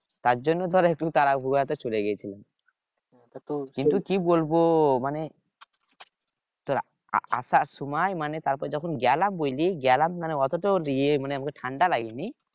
তার জন্য তার একটু তাড়াহুড়া তে চলে গেছিলাম কিন্তু কি বলবো মানে তোর আহ আসার সময় মানে তারপর যখন গেলাম ঐদিকে গেলাম মানে অত তো ইয়ে মানে আমাকে ঠান্ডা লাগেনি